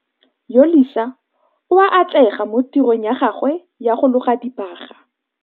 Yolisa o a atlega mo tirong ya gagwe ya go loga dibaga